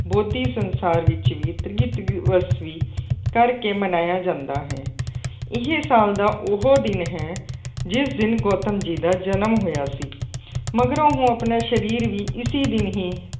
ਬੋਧੀ ਸੰਸਾਰ ਵਿੱਚ ਵੀ ਤ੍ਰੀਹਵਸਵੀ ਕਰਕੇ ਮਨਾਇਆ ਜਾਂਦਾ ਹੈ। ਇਹ ਸਾਲ ਦਾ ਉਹ ਦਿਨ ਹੈ ਜਿਸ ਦਿਨ ਗੌਤਮ ਜੀ ਦਾ ਜਨਮ ਹੋਇਆ ਸੀ। ਮਗਰੋਂ ਉਹ ਆਪਣਾ ਸਰੀਰ ਵੀ ਇਸੀ ਦਿਨ ਹੀ